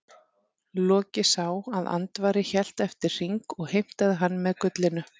Loki sá að Andvari hélt eftir hring og heimtaði hann með gullinu.